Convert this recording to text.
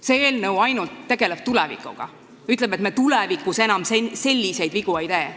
See eelnõu tegeleb ainult tulevikuga, öeldes, et me tulevikus enam selliseid vigu ei tee.